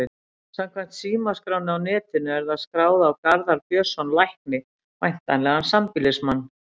Samkvæmt símaskránni á netinu er það skráð á Garðar Björnsson lækni, væntanlega sambýlismann